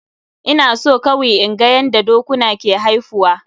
Ina so kawi inga yanda dokuna ke haifuwa.